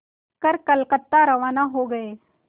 कर कलकत्ता रवाना हो गए